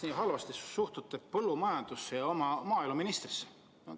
Miks te suhtute nii halvasti põllumajandusse ja maaeluministrisse?